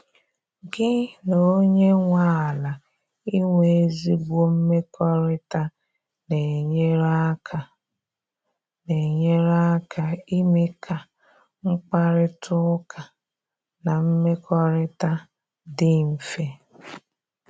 gi na onye nwe ala inwe ezigbo mmekọrịta na-enyere aka na-enyere aka ime ka mkparịta ụka na mmekọrịta dị mfe.